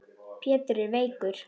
Pétur er veikur.